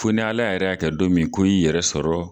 Fo ni Ala yɛrɛ y'a kɛ don min ko i y'i yɛrɛ sɔrɔ